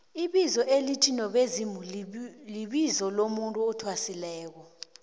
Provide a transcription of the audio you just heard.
ibizo elithi nobezimulibizo lomuntu athwasileko